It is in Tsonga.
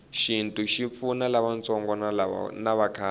shintu shipfuna lavatsongo navakhale